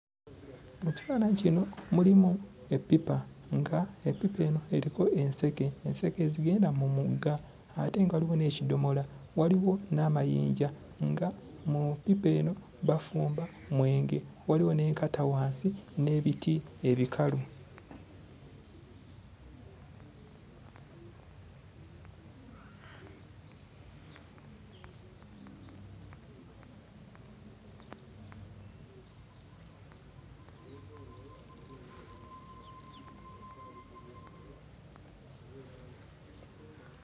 Mu kifaananyi kino mulimu eppipa nga eppipa eno eriko enseke, enseke ezigenda mu mugga ate nga waliwo n'ekidomola, waliwo n'amayinja nga mu ppipa eno bafumba mwenge waliwo n'enkata wansi n'ebiti ebikalu.